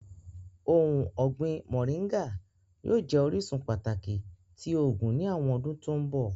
Ohun ọgbin Móringạ yóò jẹ orisun pataki ti oogun ni awọn ọdun to nbọ.